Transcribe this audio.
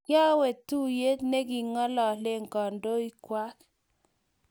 kiyaaka tuyie ne king'ololen kandoikwak